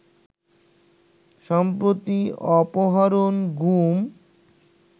সম্প্রতি অপহরণ, গুম